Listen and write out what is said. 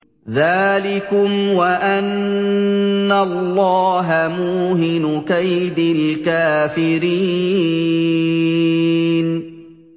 ذَٰلِكُمْ وَأَنَّ اللَّهَ مُوهِنُ كَيْدِ الْكَافِرِينَ